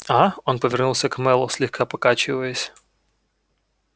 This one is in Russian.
а он повернулся к мэллоу слегка покачиваясь